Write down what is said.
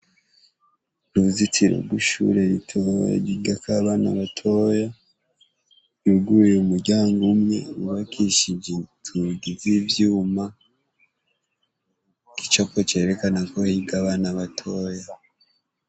Uruzitiro rw’ishure ritoya ryigakw’abana batoya , yuguruye umuryango umwe wubakishij’inzugi z’ivyuma ,igicapo cerekana ko higa abana batoya.